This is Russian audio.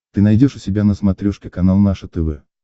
ты найдешь у себя на смотрешке канал наше тв